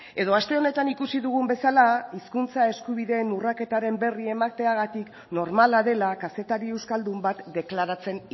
edo aste honetan ikusi dugun bezala hizkuntza eskubideen urraketaren berri emateagatik normala dela kazetari euskaldun bat deklaratzen